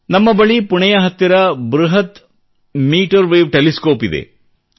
ನಮ್ಮ ಬಳಿ ಪುಣೆಯ ಹತ್ತಿರ ಬೃಹತ್ ಮೀಟರ್ ವೇವ್ ಟೆಲಿಸ್ಕೋಪ್ ಇದೆ